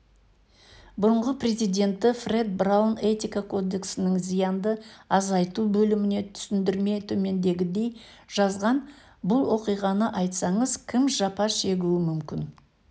бұрынғы президенті фред браун этика кодексінің зиянды азайту бөліміне түсіндірме төмендегідей жазған бұл оқиғаны айтсаңыз кім жапа шегуі мүмкін